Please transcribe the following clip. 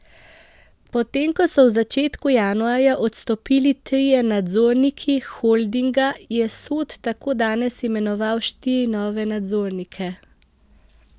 Potem ko so v začetku januarja odstopili trije nadzorniki holdinga, je Sod tako danes imenoval štiri nove nadzornike.